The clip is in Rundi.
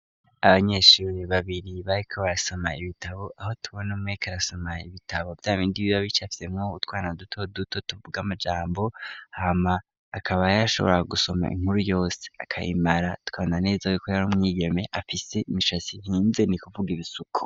Abanyeshuri babiri bariko barasoma ibitabo aho tubone mmek rasoma ibitabo byabindi biba bice afise mu gutwarna duto duto tuvuga'amajambo hama akaba ayarashoboraga gusoma inkuru yose akayimara twabna neza yo ko yari umwigeme afise imishasi hinze ni kuvuga ibisuku.